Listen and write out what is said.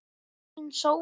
Fínn sófi!